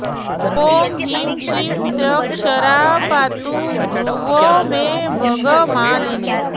ॐ ह्रीं श्रीं त्र्यक्षरा पातु भ्रुवौ मे भगमालिनी